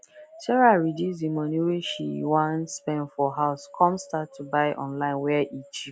sarah reduce the money wey she wan spend for house come start to buy online where e cheap